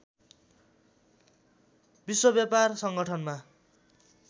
विश्व व्यापार सङ्गठनमा